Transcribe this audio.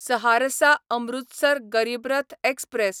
Saharsa Amritsar Garib Rath express